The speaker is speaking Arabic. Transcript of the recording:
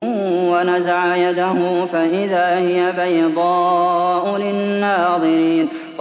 وَنَزَعَ يَدَهُ فَإِذَا هِيَ بَيْضَاءُ لِلنَّاظِرِينَ